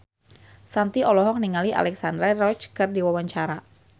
Shanti olohok ningali Alexandra Roach keur diwawancara